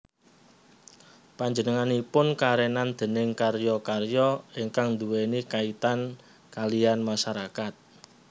Panjenenganipun karenan déning karya karya ingkang nduweni kaitan kaliyan masyarakat